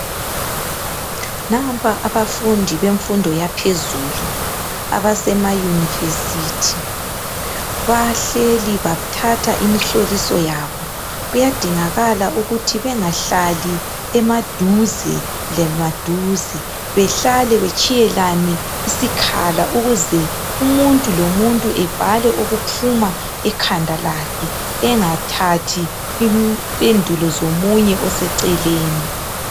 Nampa abafundi bemfundo yaphezulu, abasema university. Bahleli, bathatha imihloliso yabo. Kuyadingakala ukuthi bengahlali emaduze lemaduze . Behlale betshiyelane isikhala. Ukuze umuntu lomuntu ebhale okuphuma ekhanda lakhe. Engathathi impendulo zomunye oseceleni.